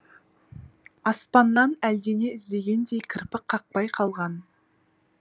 аспаннан әлдене іздегендей кірпік қақпай қалған